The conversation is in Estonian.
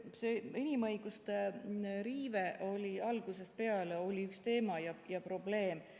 See inimõiguste riive oli algusest peale üks teema ja probleem.